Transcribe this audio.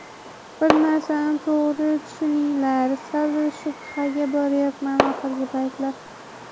Bir narsani to‘g‘ri tushuninglar, sal shubhaga boryapman oxirgi paytlar.